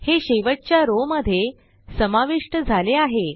हे शेवटच्या रॉव मध्ये समाविष्ट झाले आहे